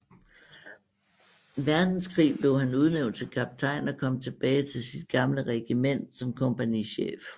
Verdenskrig blev han udnævnt til kaptajn og kom tilbage til sit gamle regiment som kompagnichef